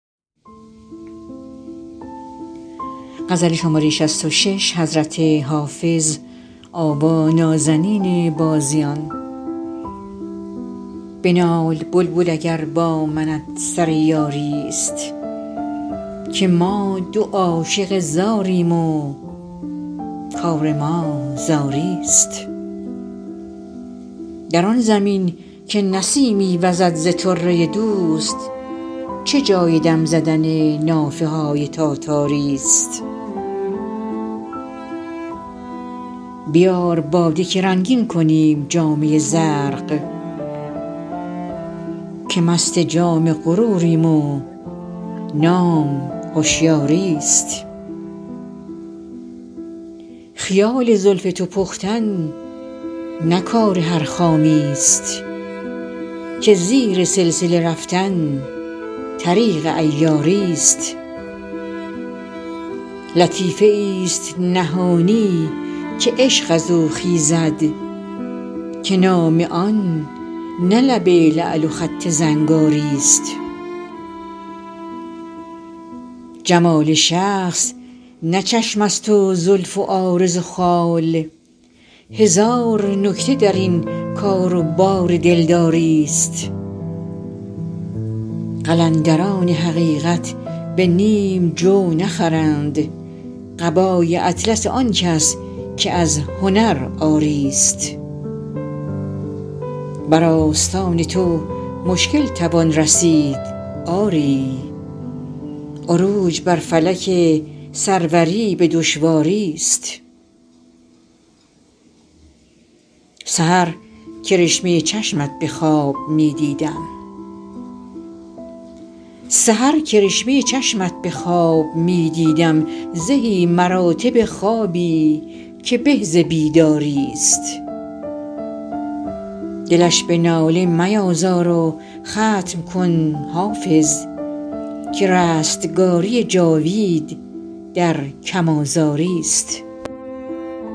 بنال بلبل اگر با منت سر یاری ست که ما دو عاشق زاریم و کار ما زاری ست در آن زمین که نسیمی وزد ز طره دوست چه جای دم زدن نافه های تاتاری ست بیار باده که رنگین کنیم جامه زرق که مست جام غروریم و نام هشیاری ست خیال زلف تو پختن نه کار هر خامی ست که زیر سلسله رفتن طریق عیاری ست لطیفه ای ست نهانی که عشق از او خیزد که نام آن نه لب لعل و خط زنگاری ست جمال شخص نه چشم است و زلف و عارض و خال هزار نکته در این کار و بار دلداری ست قلندران حقیقت به نیم جو نخرند قبای اطلس آن کس که از هنر عاری ست بر آستان تو مشکل توان رسید آری عروج بر فلک سروری به دشواری ست سحر کرشمه چشمت به خواب می دیدم زهی مراتب خوابی که به ز بیداری ست دلش به ناله میازار و ختم کن حافظ که رستگاری جاوید در کم آزاری ست